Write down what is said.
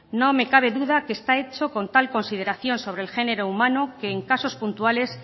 no me cabe duda que está hecho con tal consideración sobre el género humano que en casos puntuales